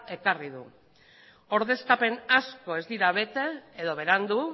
ekarri du ordezkapen asko ez dira bete edo berandu